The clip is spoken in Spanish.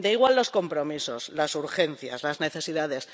Da igual los compromisos, las urgencias, las necesidades